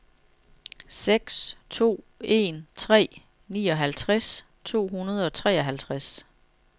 seks to en tre nioghalvtreds to hundrede og treoghalvtreds